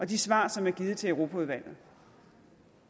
de svar som er givet til europaudvalget